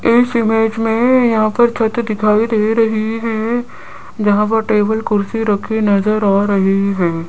इस इमेज में यहां पर फोटो दिखाई दे रही हैं जहां पर टेबल कुर्सी रखी नजर आ रही हैं।